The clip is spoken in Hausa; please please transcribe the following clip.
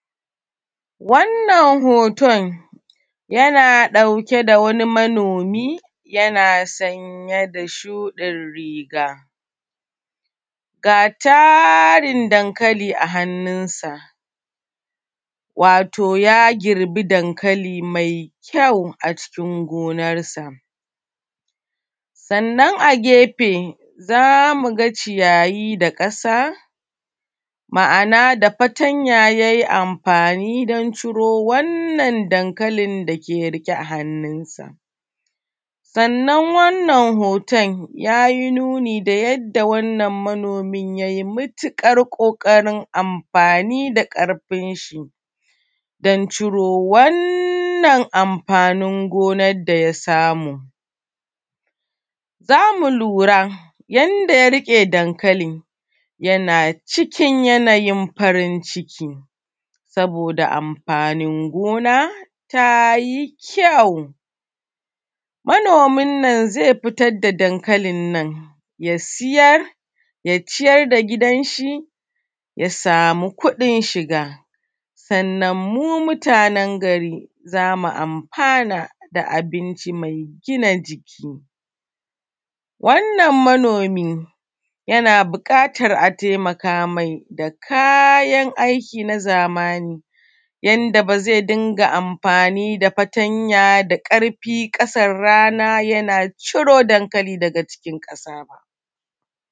Wannan hoton, yana ɗauke da wani manomi, yana sanye da shuɗin riga ga tarin dankali a hanninsa. Wato, ya girbi dankali me kyau a cikin gonarsa. Sannan, a gefe za mu ga ciyayi da ƙasa, ma’an ada fatanya yai amfani don ciro wannan dankalin da ke riƙe a hanninsa. Sannan, wannan hoton, ya yi nuni da yadda wannan manomin yai mutiƙar ƙoƙarin amfani da ƙarfinshi don ciro wannan amfanin gonad da ya samu. Za mu lura, yadda ya riƙe dankalin, yana cikin yanayin farin ciki saboda amfanin gona ta yi kyau. Manomin nan ze fitad da dankalin nan, ya sitar, ya ciyar da gidanshi, ya samu kuɗin shiga. Sannan, mu mutanen gari za mu amfana da abinci me gina jik. Wannan manomi, yana biƙatar a temaka mai da kayan aiki na zamani inda ba ze dinga amfani da fatanya da ƙarfi ƙasan rana yana ciro dankali daga cikin ƙasa ba.